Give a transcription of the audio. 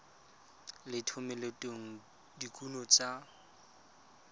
le thomeloteng ya dikuno tsa